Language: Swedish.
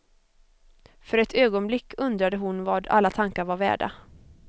För ett ögonblick undrade hon vad alla tankar var värda.